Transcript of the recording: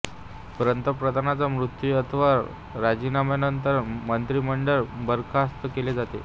पंतप्रधानाचा मृत्यू अथवा राजीनाम्यानंतर मंत्रीमंडळ बरखास्त केले जाते